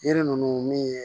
Yiri ninnu min ye